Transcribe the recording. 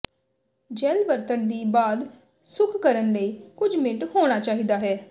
gel ਵਰਤਣ ਦੀ ਬਾਅਦ ਸੁੱਕ ਕਰਨ ਲਈ ਕੁਝ ਮਿੰਟ ਹੋਣਾ ਚਾਹੀਦਾ ਹੈ